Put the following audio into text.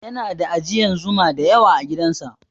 Yana da ajiyan Zuma da yawa agidan sa